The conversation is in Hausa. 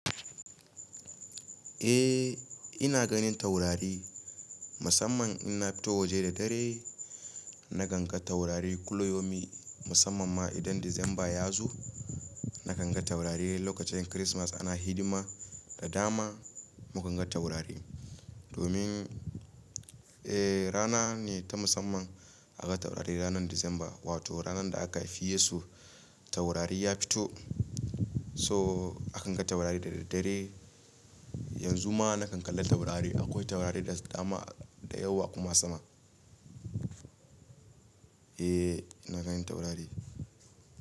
Eh ina ganin taurari musamman in na fito waje da dare na ganga taurari kullum musamman ma idan Disamba ya zo. Na ganga taurari lokacin Kirismas ana hidima da dama mukan ga taurari. Domin eh rana ne ta musamman aka taurari ranar Disamba wato ranar da aka fiye su taurari ya fito so akan ga taurari da daddare. Yanzu ma na kan kalla taurari akwai taurari da dama, da yawa kuma sama. Eh ina ganin taurari.